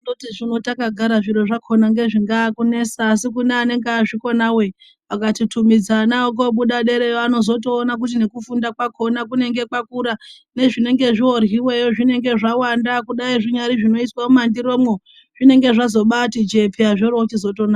Takagara zviro zvakhona mgezvingaa kunesa asi une vanenge vazvikonawo vakatutumidza Ana awo kobuda derayo vanozotoorana kuti jekufunda kwakona kunenge kwakura nezvinge zvoryiweyo zvinenge zvawanda kudai zvinyari zvinoiswe mumandiromwo zvingenge zvazobati jee paa zviro zvichizonaka